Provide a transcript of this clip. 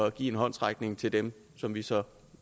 at give en håndsrækning til dem som vi så